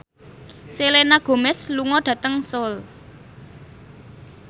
Selena Gomez lunga dhateng Seoul